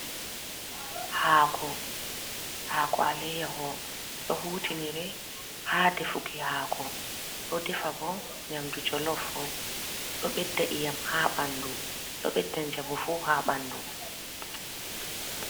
Haako, haako ale'yyaho do hutinire ha defuki haako do defa bo nyamdu jolof do bedda iyam ha bandu do beddan jamu fu ha bandu.